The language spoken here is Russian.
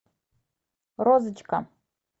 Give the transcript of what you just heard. розочка